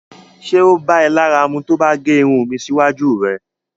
Ṣé o bá è lára mù tó mo bá gé irùn mi síwájú rẹ̀?